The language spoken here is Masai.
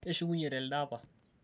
keshukunye telde apa